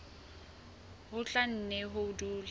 ho tla nne ho dule